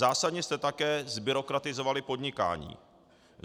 Zásadně jste také zbyrokratizovali podnikání.